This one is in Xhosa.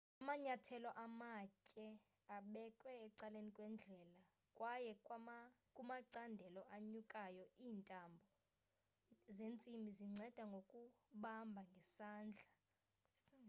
amanyathelo amatye abekwe ecaleni kwendlela kwaye kumacandelo anyukayo iintambo zentsimbi zinceda ngokubamba ngesandla